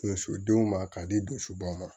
Muso denw ma k'a di don sobaw ma